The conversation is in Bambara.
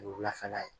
Wulafɛla ye